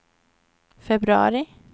februari